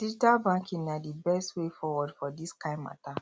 digital banking na di best way forward for dis kain mata